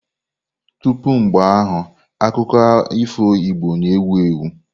Tupu mgbe ahụ, akụkọ ifo Igbo na-ewu ewu.